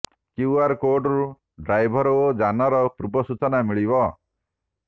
QR କୋର୍ଡରୁ driver ଓ ଯାନର ପୂର୍ବ ସୂଚନା ମିଳିବ